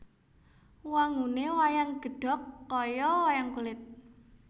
Wangune wayang gedhog kaya wayang kulit